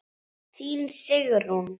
Þín Sigrún.